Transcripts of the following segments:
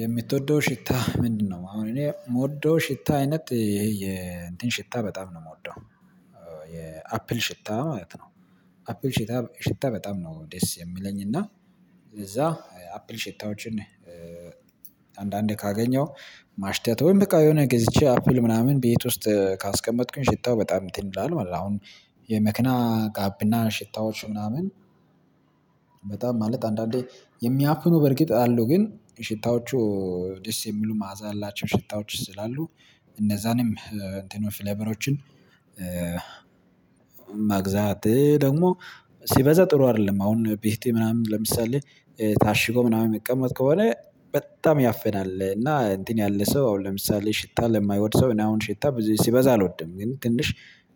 የምትወደው ሽታ ምንድነው? አሁን እኔ የምወደው ሽታ አይነት ይሄ የእንትን ሽታ በጣም ነው የምወደው የአፕል ሽታ ማለት ነው። አፕል ሽታ ሽታ በጣም ነው ደስ የሚለኝ እና እዛ አፕል ሽታዎችን አንዳንዴ ካገኘው ማሽታት ወይም በቃ የሆነ ገዝቼ አፕል ምናምን ቤት ውስጥ ካስቀመጥኩኝ ሽታው በጣም እንትን ይላል ማለት ነው። አሁን የመክና ጋብና ሽታዎች ምናምን በጣም ማለት አንዳንዴ የሚያፍኑ በርግጥ አሉ ግን ሽታዎቹ ደስ የሚሉ ማዕዛ ያላቸው ሽታዎች ስላሉ እነዛንም እንትኖች ፍለበሮችን መግዛት፣ ደግሞ ሲበዛ ጥሩ አይደለም አሁን ቤቴ ምናምን ለምሳሌ ታሽጎ ምናምን የሚቀመጥ ከሆነ በጣም ያፈናል እና እንትን ያለ ሰው አሁን ለምሳሌ ሽታ ለማይወድ ሰው እኔ አሁን ሽታ ሲበዛ አልወድም። ግን ትንሽ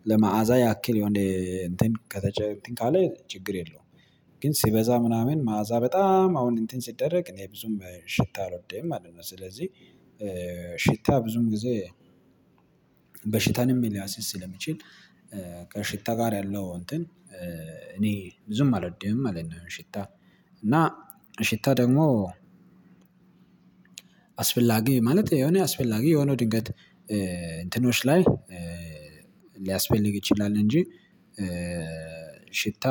ለመአዛ ያክል የሆነ እንትን ከተቸ፤ እንትን ካለ ችግር የለውም። ግን ሲበዛ ምናምን መዓዛ በጣም አሁን እንትን ሲደረግ እኔ ብዙም ሽታ አልወደኝም ማለት ነው። ስለዚህ ሽታ ብዙም ጊዜ በሽታንም ልያስይዝ ስለሚችል ከሽታ ጋር ያለው እንትን እኔ ዝም አልወድም ማለት ነው ሽታ። እና ሽታ ደግሞ አስፈላጊ ማለት የሆነ አስፈላጊ የሆነው ድንገት እንትኖች ላይ ሊያስፈልግ ይችላል እንጂ ሽታ፣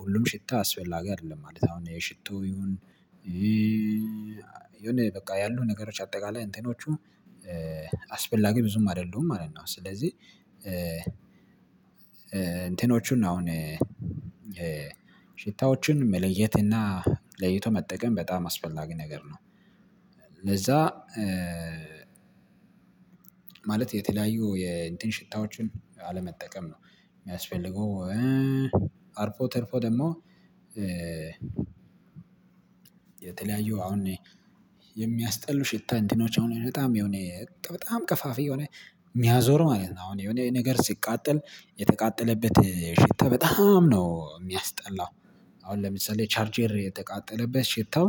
ሁሉም ሽታ አስፈላጊ አይደለም። አሁን የሽቶ ይሁን ይሁን በቃ ያሉ ነገሮች አጠቃላይ እንትኖቹ አስፈላጊ ብዙም አይደሉም ማለት ነው። ስለዚህ እንትኖቹን አሁን ሽታዎችን መለየት እና ለይቶ መጠቀም በጣም አስፈላጊ ነገር ነው። ለዛ ማለት የተለያዩ የእንትን ሽታዎችን አለመጠቀም ነው የሚያስፈልገው አርፎ ተርፎ ደግሞ የተለያዩ አሁን የሚያስጠሉ ሽታ እንትኖች አሁን በጣም የሆነ በጣም ቀፋፊ የሆነ የሚያዞሩ ማለት ነው፣ አሁን የሆነ ነገር ሲቃጠል የተቃጠለበት ሽታ በጣም ነው የሚያስጠላው። አሁን ለምሳሌ ቻርጀር ኤር የተቃጠለበት ሽታው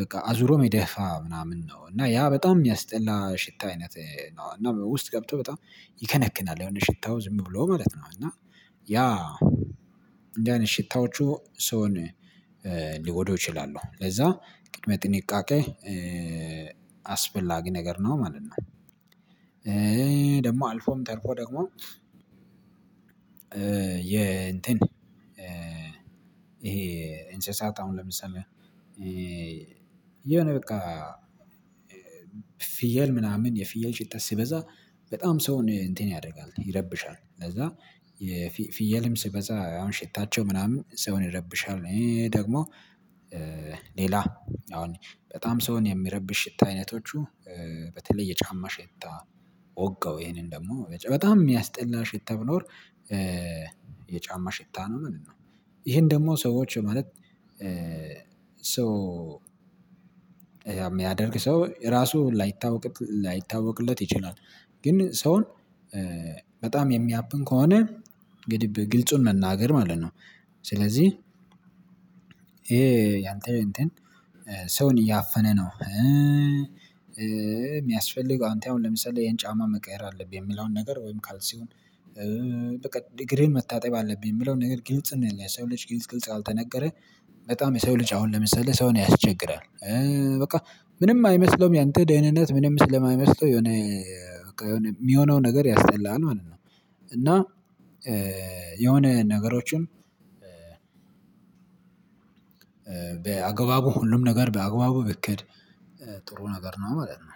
በቃ አዙሮ ሚደፋ ምናምን ነው። እና ያ በጣም የሚያስጠላ ሽታ አይነት ነው እና ውስጥ ገብቶ በጣም ይከነክናል፣ የሆነ ሽታው ዝም ብሎ ማለት ነው። እና ያ እንዲህ አይነት ሽታዎቹ ሰውን ሊጎዱ ይችላሉ። ለዛ ቅድመ ጥንቃቄ አስፈላጊ ነገር ነው ማለት ነው። ደግሞ አልፎም ተርፎ ደግሞ የ እንትን ይሄ ኢንሰሳት አሁን ለምሳሌ የሆነ በቃ ፍየል ምናምን፣ የፍየል ሽታ ሲበዛ በጣም ሰውን እንትን ያደርጋል፣ ይረብሻል ለዛ ፍየልም ሲበዛ አሁን ሽታቸው ምናምን ሰውን ይረብሻል። ደግሞ ሌላ አሁን በጣም ሰውን የሚረብሽ ሽታ አይነቶቹ በተለይ የጫማ ሽታ፣ ወጋው ይሄንን ደግሞ በጣም የሚያስጠላ ሽታ ብኖር የጫማ ሽታ ነው ማለት ነው። ይሄን ደግሞ ሰዎች ማለት ሰው፣ የሚያደርግ ሰው ራሱ ላይታወቅለት ይችላል። ግን ሰውን በጣም የሚያፍን ከሆነ እንግዲህ ግልጹን መናገር ማለት ነው። ስለዚህ ይሄ ያንተ እንትን ሰውን እያፈነ ነው፤ የሚያስፈልገው አንተ አሁን ለምሳሌ ይሄን ጫማ መቀየር አለብህ የሚለውን ነገር ወይም ካልሲውን፣ በቃ እግሪህን መታጠብ አለብኝ የምለው ነገር ግልጽ፣ የሰው ልጅ ግልጽ፣ ግልጽ ያልተነገረ በጣም የሰው ልጅ አሁን ለምሳሌ ሰውን ያስቸግራል። በቃ ምንም አይመስለውም፣ ያንተ ደህንነት ምንም ስለማይመስለው የሆነ፣ የሚሆነው ነገር ያስጨላል ማለት ነው። እና የሆነ ነገሮችን በአገባቡ፣ ሁሉም ነገር በአገባቡ ብክድ ጥሩ ነገር ነው ማለት ነው።